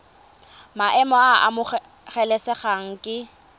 maemo a a amogelesegang ke